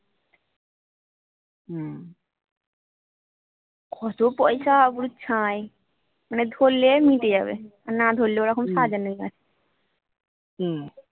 কত পয়সা পুরো ছাই মানে ধরলে মিটে যাবে আর না ধরলে ওরকম সাজানোর থাকবে